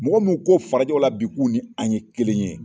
Mɔgɔ minnu ko farajɛw la bi k'u ni an ye kelen ye.